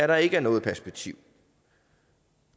der ikke er noget perspektiv